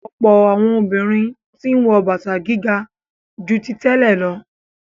Ọ̀pọ̀ àwọn obìnrin tí ń wọ bàtà gíga ju tí tẹ́lẹ̀ lọ.